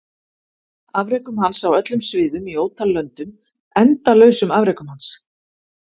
Afrekum hans á öllum sviðum í ótal löndum endalausum afrekum hans?